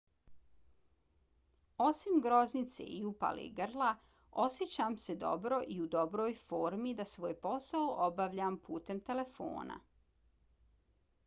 osim groznice i upale grla osjećam se dobro i u dobroj formi da svoj posao obavljam putem telefona.